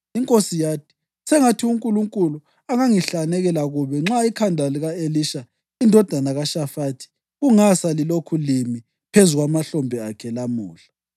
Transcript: Inkosi yathi, “Sengathi uNkulunkulu angangihlanekela kubi nxa ikhanda lika-Elisha indodana kaShafathi kungasa lilokhu limi phezu kwamahlombe akhe lamuhla!”